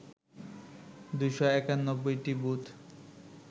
২৯১টি booth